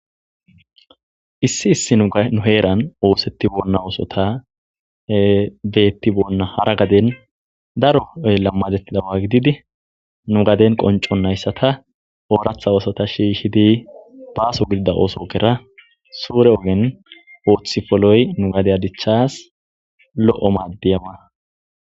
issi issi nu heeran oosetti bonna oosota deetti bonna hara gaden daro lammadettidawa gididi nu gaden qoncon nayssata ooratha oosota shiishidi baaso gidida ooso gera suure oben ooththifoloy nu gadeya dichas lo7o maaddiyaba